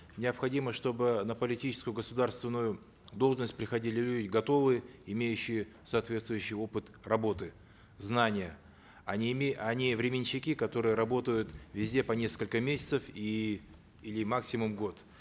необходимо чтобы на политическую государственную должность приходили люди готовые имеющие соответствующий опыт работы знания а не а не временщики которые работают везде по несколько месяцев и или максимум год